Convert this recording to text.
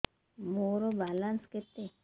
ମୋର ବାଲାନ୍ସ କେତେ